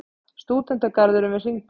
Stúdentagarðurinn við Hringbraut.